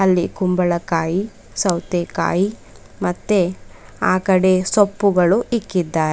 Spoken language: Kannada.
ಅಲ್ಲಿ ಕುಂಬಳಕಾಯಿ ಸೌತೆಕಾಯಿ ಮತ್ತೆ ಆ ಕಡೆ ಸೊಪ್ಪುಗಳು ಇಕ್ಕಿದ್ದಾರ್--